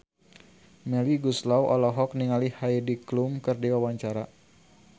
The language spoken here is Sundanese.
Melly Goeslaw olohok ningali Heidi Klum keur diwawancara